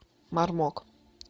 мармок